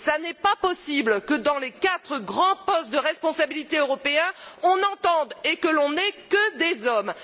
Il n'est pas possible que, pour les quatre grands postes de responsabilité européens, on n'entende et on n'ait que des hommes.